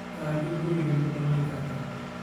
Kaajo kuriga nii kudhamenikarta.